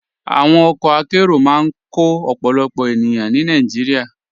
Àwọn ọkọ àkéró máa n kọ ọ̀pọ̀lọpọ̀ ènìyàn ní Nàìjíríà.